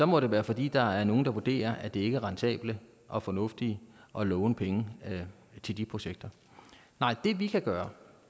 må det være fordi der er nogle der vurderer at det ikke er rentabelt og fornuftigt at låne penge til de projekter det vi kan gøre